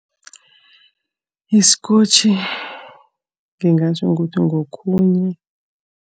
Iskotjhi ngingatjho ngithi ngokhunye.